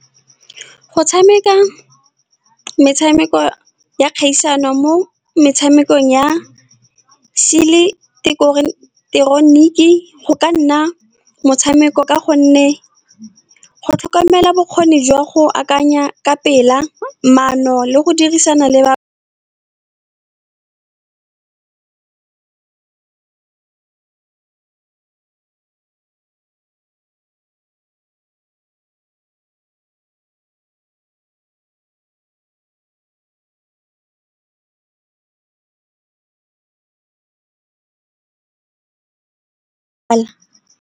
Go tshameka metshameko ya kgaisano mo metshamekong ya seileteroniki go ka nna motshameko ka gonne go tlhokomela bokgoni jwa go akanya ka pela maano le go dirisana le ba .